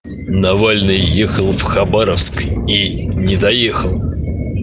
навальный ехал в хабаровск и не доехал